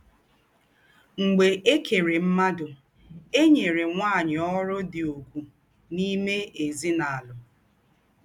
Mḡbè è kèrè mmádụ, è nyèrè nwányị̀ ọ́rụ̀ dị ùgwù n’ìmé èzínàlụ́.